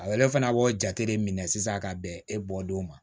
A yɛrɛ fana b'o jate de minɛ sisan ka bɛn e bɔlen ma